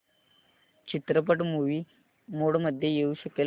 चित्रपट movie mode मध्ये येऊ शकेल का